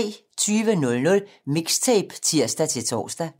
20:00: Mixtape (tir-tor)